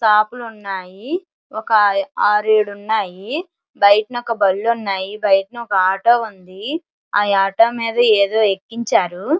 Shop లు ఉన్నాయి. ఒక ఆరు ఏడు ఉన్నాయి. బయట ఒక బండ్లు ఉన్నాయి. బయట ఒక ఆటో ఉంది. ఆ ఆటో మీద ఏదో ఎక్కించారు.